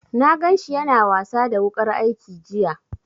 Na gan shi ya na wasa da wuƙar aiki jiya